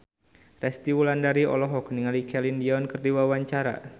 Resty Wulandari olohok ningali Celine Dion keur diwawancara